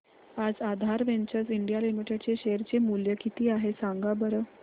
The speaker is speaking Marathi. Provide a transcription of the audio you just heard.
आज आधार वेंचर्स इंडिया लिमिटेड चे शेअर चे मूल्य किती आहे सांगा बरं